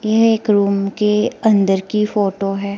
यह एक रूम के अंदर की फोटो है।